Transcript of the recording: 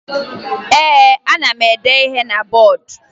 Ee, ana m ede ihe na bọọdụ